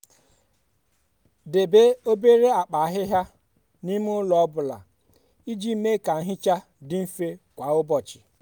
debe obere akpa ahịhịa n'ime ụlọ ọ bụla iji mee ka nhicha dị mfe kwa ụbọchị.